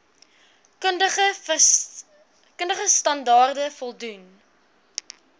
kundige standaarde voldoen